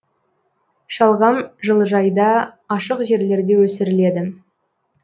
шалғам жылыжайда ашық жерлерде өсіріледі